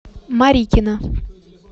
марикина